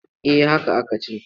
Eh haka aka ce.